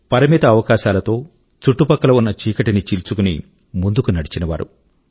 పరిమిత అవకాశాల తో చుట్టుపక్కల ఉన్న చీకటి ని చీల్చుకుని ముందుకు నడిచినవారు